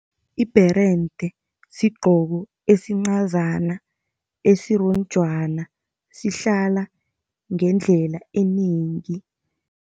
Ibherende sigqoko esincazana, esironjwana sihlala ngendlela enengi.